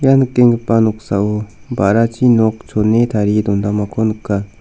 ia nikenggipa noksao ba·rachi nok chone tarie dondamako nika.